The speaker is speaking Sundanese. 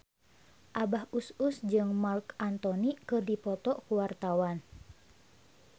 Abah Us Us jeung Marc Anthony keur dipoto ku wartawan